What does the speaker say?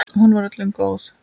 Hún var öllum góð.